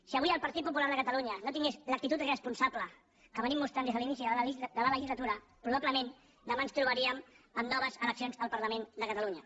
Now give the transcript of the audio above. si avui el partit popular de catalunya no tingués l’actitud responsable que venim mostrant des de l’inici de la legislatura probablement demà ens trobaríem amb noves eleccions al parlament de catalunya